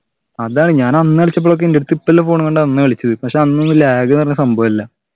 അതാണ് ഞാൻ അന്ന് കളിച്ചപ്പോഴൊക്കെ എൻ്റെട്ത്ത് ഇപ്പല്ലെ phone കൊണ്ടാ അന്ന് കളിച്ചത് പക്ഷെ അന്ന് lag ന്ന് പറഞ്ഞ സംഭവല്ല